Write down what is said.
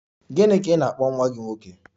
Gịnị ka ị na-akpọ nwa gị nwoke?